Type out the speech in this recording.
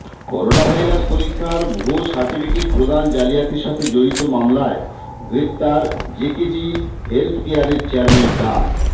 coronavirus পরীক্ষার ভুয়া certificate প্রদান জালিয়াতির সাথে জড়িত মামলায় গ্রেপ্তার জেকেজি হেলথকেয়ারের চেয়ারম্যান ডা